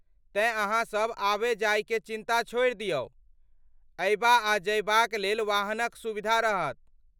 तेँ ,अहाँसभ आबय जाय केँ चिन्ता छोड़ि दियौ। अयबा आ जयबाक लेल वाहनक सुविधा रहत।